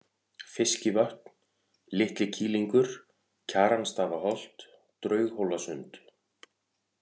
Fiskivötn, Litlikýlingur, Kjaranstaðaholt, Draughólasund